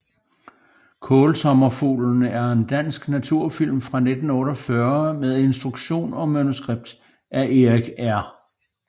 Kaalsommerfuglen er en dansk naturfilm fra 1948 med instruktion og manuskript af Erik R